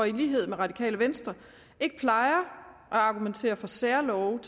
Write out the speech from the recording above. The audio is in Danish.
i lighed med radikale venstre ikke plejer at argumentere for særlove